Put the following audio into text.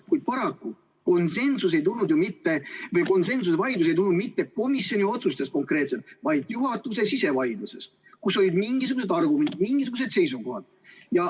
Kuid paraku konsensuse vaidlus ei tulnud mitte komisjoni otsustest konkreetselt, vaid juhatuse sisevaidlusest, kus olid mingisugused argumendid, mingisugused seisukohad.